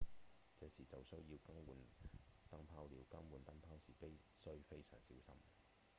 這時就需要更換燈泡了更換燈泡時必須非常小心